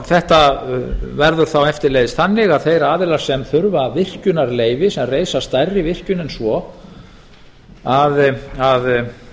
þetta verður þá eftirleiðis þannig að þeir aðilar sem þurfa virkjunarleyfi sem reisa stærri virkjun en svo